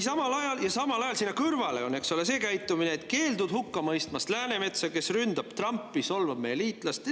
Samal ajal on seal kõrval see käitumine, et keeldud hukka mõistmast Läänemetsa, kes ründab Trumpi, solvab meie liitlast.